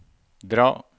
dra